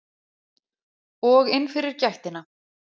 Og inn fyrir gættina.